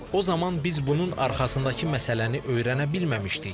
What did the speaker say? O zaman biz bunun arxasındakı məsələni öyrənə bilməmişdik.